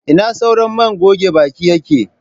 Ina sauran man goge bakin yake.?.